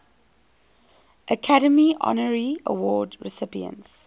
academy honorary award recipients